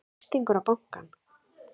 Heimir Már Pétursson: Þrýstingur á bankann?